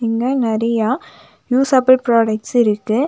இங்க நறியா useful products இருக்கு.